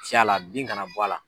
Fiy'a la bin kana bɔ a la.